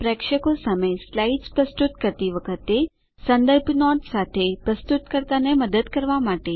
પ્રેક્ષકો સામે સ્લાઇડ્સ પ્રસ્તુત કરતી વખતે સંદર્ભ નોટ સાથે પ્રસ્તુતકર્તાને મદદ કરવા માટે